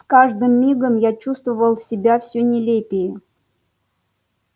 с каждым мигом я чувствовал себя все нелепее